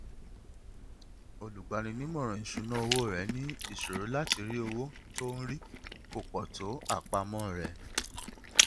olùgbaninímọràn ìṣúnná owó rẹ ní ìṣòro láti rí owó tó ń rí kò pọ tó àpamọ rẹ